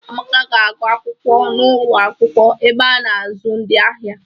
Amaka ga-agụ akwụkwọ n'ụlo akwụkwọ ebe a na-azụ ndị agha.